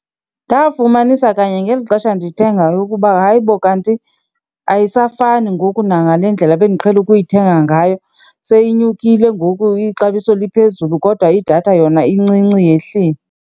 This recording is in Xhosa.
Ndafumanisa kanye ngeli xesha ndithengayo ukuba, hayi bo kanti ayisafani ngoku nangale ndlela ebendiqhele ukuyithenga ngayo. Seyinyukile ngoku, ixabiso liphezulu kodwa idatha yona incinci yehlile.